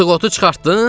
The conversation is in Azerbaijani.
Qıtıq otu çıxartdın?